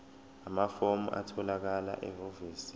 amafomu atholakala ehhovisi